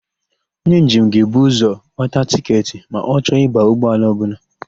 Onye njem ga-ebu ụzọ gbata tịketị ma ọ chọ ịba ụgbọala ọbụla.